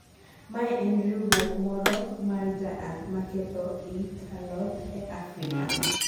mae en riwruok moro mar jaath maketho irt alode e africa